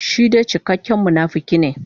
Shi dai cikakken munafuki ne.